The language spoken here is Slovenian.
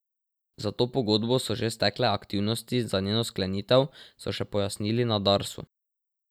Za to pogodbo so že stekle aktivnosti za njeno sklenitev, so še pojasnili na Darsu.